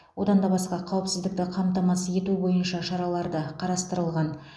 одан да басқа қауіпсіздікті қамтамасыз ету бойынша шараларды қарастырылған